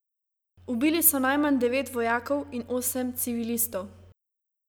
Ubili so najmanj devet vojakov in osem civilistov.